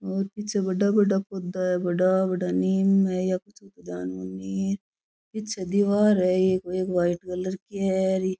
और पीछे बड़ा बड़ा पौधा है बड़ा बड़ा नीम है या कुछ ध्यान कोनी पीछे दिवार है एक वाइट कलर की है --